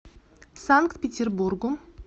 санкт петербургу